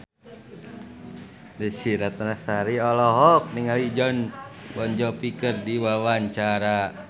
Desy Ratnasari olohok ningali Jon Bon Jovi keur diwawancara